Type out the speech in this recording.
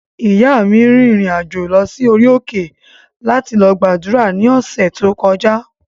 Ìyáa mi rìnrìn-àjò lọ sí orí òkè láti lọ gbàdúrà ní ọ̀sẹ̀ tí ó kọjá